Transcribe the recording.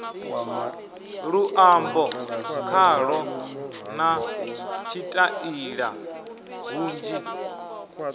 luambo khalo na tshitaila hunzhi